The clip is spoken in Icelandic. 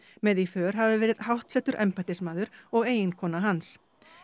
með í för hafi verið háttsettur embættismaður og eiginkona hans